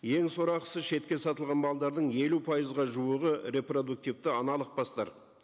ең сорақысы шетке сатылған малдардың елу пайызға жуығы репродуктивті аналық бастар